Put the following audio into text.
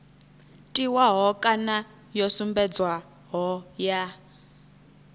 tiwaho kana yo sumbedzwaho ya